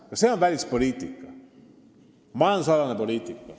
Ka see on välispoliitika, majandusalane poliitika.